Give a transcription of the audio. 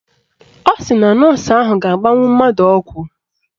Ọ sị na nọọsụ ahụ ga-agbanwu mmadụ ọgwụ